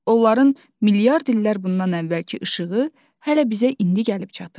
Onların milyard illər bundan əvvəlki işığı hələ bizə indi gəlib çatır.